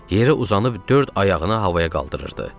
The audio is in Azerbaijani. Yerə uzanıb dörd ayağını havaya qaldırırdı.